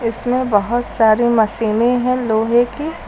इसमे बहोत सारी मशीने है लोहे की।